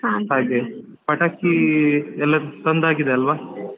ಹಾಗೆ ಪಟಾಕಿ ಎಲ್ಲ ತಂದ್ ಆಗಿದೆ ಅಲ್ವಾ.